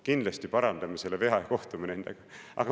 "Kindlasti parandame selle vea ja kohtume nendega.